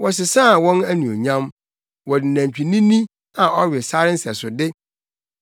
Wɔsesaa wɔn Anuonyam wɔde nantwinini, a ɔwe sare nsɛsode.